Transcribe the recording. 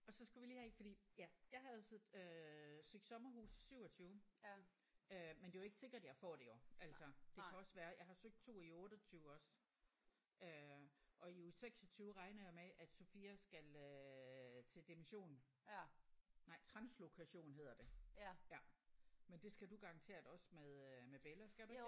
Og så skulle vi lige have ik fordi ja jeg havde jo så øh søgt sommerhus 27 øh men det er jo ikke sikkert jeg får det jo altså. Det kan også være jeg har søgt 2 i 28 også øh og i uge 26 regner jeg med at Sofia skal øh til dimission nej translokation hedder det ja. Men det skal du garanteret også med øh med Bella skal du ikke det?